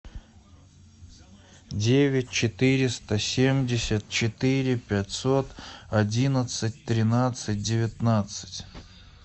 девять четыреста семьдесят четыре пятьсот одиннадцать тринадцать девятнадцать